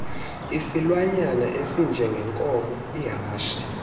isilwanyana esinjengenkomo ihashe